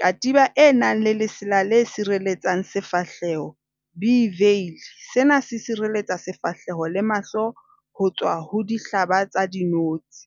Katiba e nang le lesela le sireletsang sefahleho, a veil . Sena se sireletsa sefahleho le mahlo ho tswa ho dihlaba tsa dinotsi.